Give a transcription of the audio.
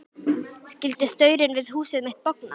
Skyldi staurinn við húsið mitt bogna?